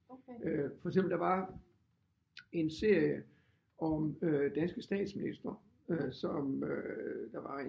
Øh for eksempel der var en serie om øh danske statministre som øh der var